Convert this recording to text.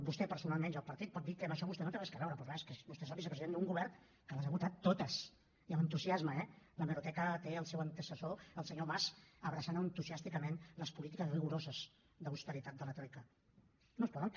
vostè personalment i el partit pot dir que amb això vostè no hi té res a veure però clar és que vostè és el vicepresident d’un govern que les ha votat totes i amb entusiasme eh a l’hemeroteca té el teu antecessor el senyor mas abraçant entusiàsticament les polítiques rigoroses d’austeritat de la troica